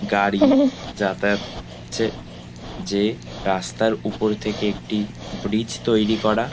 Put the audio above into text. গাড়ি যাতায়াত করছে যে রাস্তার উপর থেকে একটি ব্রিজ তৈরি করা।